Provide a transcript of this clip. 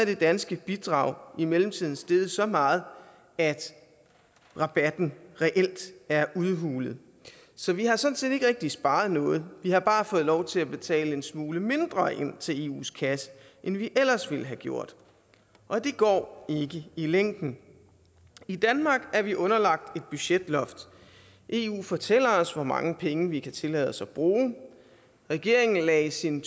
det danske bidrag i mellemtiden steget så meget at rabatten reelt er udhulet så vi har sådan set ikke rigtig sparet noget vi har bare fået lov til at betale en smule mindre ind til eus kasse end vi ellers ville have gjort og det går ikke i længden i danmark er vi underlagt et budgetloft eu fortæller os hvor mange penge vi kan tillade os at bruge regeringen lagde i sin